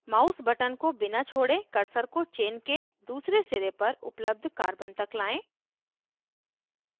mouse button को बिना छोड़े cursor को chain के दूसरे सिरे पर उपलब्ध carbon तक लाएं